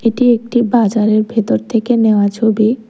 এটি একটি বাজারের ভেতর থেকে নেওয়া ছবি।